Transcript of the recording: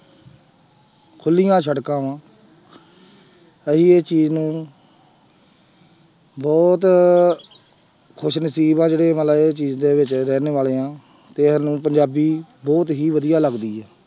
ਖੁੱਲੀਆਂ ਸੜਕਾਂ ਵਾਂ ਅਸੀਂ ਇਹ ਚੀਜ਼ ਨਾਲ ਬਹੁਤ ਖ਼ੁਸ਼ਨਸ਼ੀਬ ਹਾਂ ਜਿਹੜੇ ਮਤਲਬ ਇਹ ਚੀਜ਼ ਦੇ ਵਿੱਚ ਰਹਿਣ ਵਾਲੇ ਹਾਂ ਤੇ ਸਾਨੂੰ ਪੰਜਾਬੀ ਬਹੁਤ ਹੀ ਵਧੀਆ ਲੱਗਦੀ ਹੈ।